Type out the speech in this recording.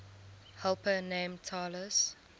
helper named talus